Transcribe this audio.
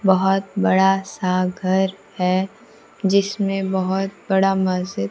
बहोत बड़ा सा घर है जिसमें बहोत बड़ा मस्जिद--